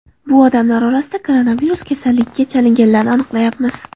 Bu odamlar orasida koronavirus kasalligiga chalinganlarni aniqlayapmiz.